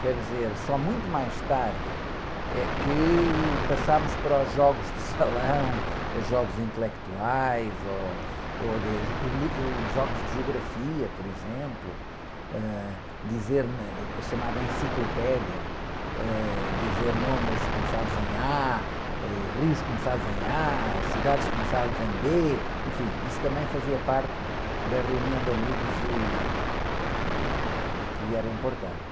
Quer dizer, só muito mais tarde é que passámos para os jogos de salão, ou jogos intelectuais, ou, ou, jogos de geografia, por exemplo, ãh, dizer na, a chamada enciclopédia, ãh, dizer nomes começados em a, ãh, rios começados em a, cidades começadas em bê, enfim, isso também fazia parte da reunião de amigos e, ih, e que era importante.